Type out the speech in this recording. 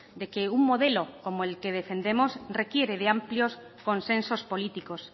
de que un modelo como el que defendemos requiere de amplios consensos políticos